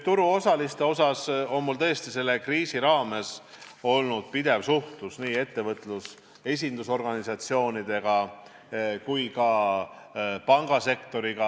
Turuosalistest rääkides, mul on tõesti selle kriisi raames olnud pidev suhtlus nii ettevõtluse esindusorganisatsioonidega kui ka pangasektoriga.